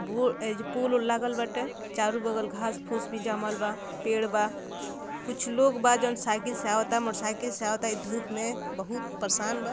एजा पुल वूल लागल बाटे चारो बगल घास फूस भी जमल बा पेड़ बा कुछ लोग बा जौंन साइकिल से आवता मोटोसाइकिल से आवता इ धुप में बहुत परेशान बा।